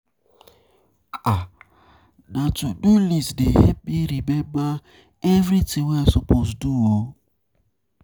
Na dis to-do list dey help me remember everytin wey I suppose do.